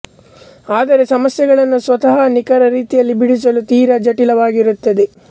ಆದರೆ ಸಮಸ್ಯೆಗಳನ್ನು ಸ್ವತಃ ನಿಖರ ರೀತಿಯಲ್ಲಿ ಬಿಡಿಸಲು ತೀರಾ ಜಟಿಲವಾಗಿರುತ್ತದೆ